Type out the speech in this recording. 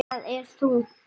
Það er þungt.